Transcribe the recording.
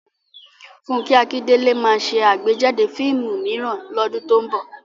Fúnkẹ́ Akíndélé ma ṣe àgbéjáde fíìmù mìíràn lọ́dún tó ń bọ̀